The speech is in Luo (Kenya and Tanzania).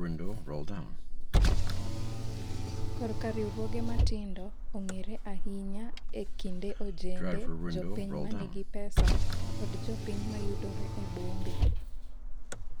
korka riwruoge matindo ong'ere ahinya e kind ojende, jopiny manigi pesa kod jopiny mayudore e bombe